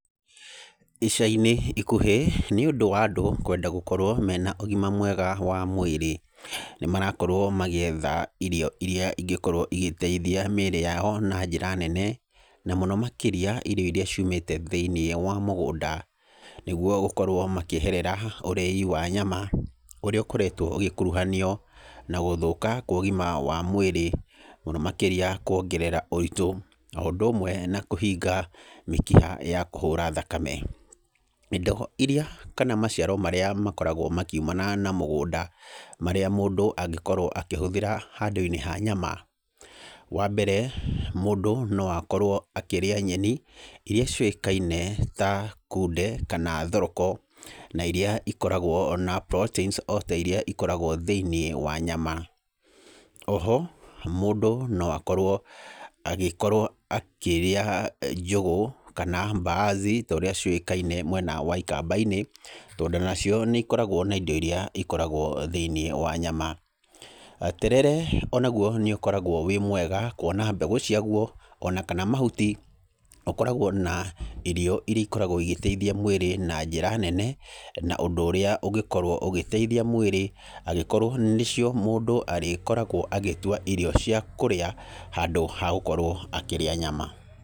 Ica-inĩ ikuhĩ nĩ ũndũ wa andũ kwenda gũkorwo makĩenda ũgima mwega wa mwĩrĩ nĩ marakorwo magĩetha irio irĩa ingikorwo igĩteithia mĩĩrĩ yao na mũno makĩria irio irĩa ciumĩte thĩiniĩ wa mũgũda. Nĩguo gũkorwo makĩeherera ũrĩi wa nyama ũrĩa ũkoretwo ũgĩkuruhanio na gũthũka kwa ũgima wa mwĩrĩ. Mũno makĩria kuongerera ũritũ o ũndũ ũmwe na kũhinga mĩkiha ya kũhũra thakame. Irio irĩa kana maciaro marĩa makoragwo makiumana na mũgũnda marĩa mũndũ angĩkorwo akĩhũthĩra handũ-inĩ ha nyama; Wa mbere mũndũ no akorwo akĩrĩa nyeni irĩa ciũĩkaine ta kunde kana thoroko, na irĩa ikoragwo na proteins o ta irĩa ikoragwo thĩinĩ wa nyama. Oho mũndũ no akorwo agĩkorwo akĩrĩa njũgũ kana mbaazi ta ũrĩa ciũĩkaine mwena wa ikamba-inĩ, tondũ onacio nĩ ikoragwo na indo irĩa ikoragwo thĩinĩ wa nyama. Terere onaguo nĩ ũkoragwo wĩ mwega kuona mbegũ ciaguo ona kana mahuti. Ũkoragwo na irio irĩa ikoragwo igĩteithia mwĩrĩ na njĩra nene. na ũndũ ũrĩa ũngĩkorwo ũgĩteithia mwĩrĩ angĩkorwo nĩcio mũndũ arĩkoragwo agĩtua irio cia kũrĩa, handũ ha gũkorwo akĩrĩa nyama.